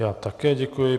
Já také děkuji.